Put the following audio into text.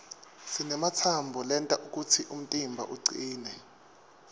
sinematsambo lenta kutsi umtimba ucine